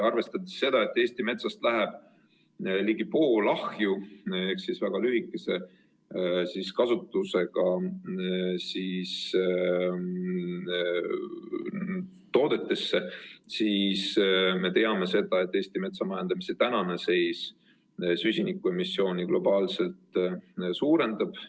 Arvestades seda, et Eesti metsast läheb ligi pool ahju ehk väga lühikese kasutusajaga toodetesse, me teame, et Eesti metsamajandamise tänane seis süsinikuemissiooni globaalselt suurendab.